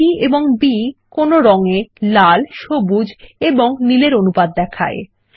রের G এবং B কোনো রং এ লাল সবুজ এবং নীলের অনুপাত দেখায়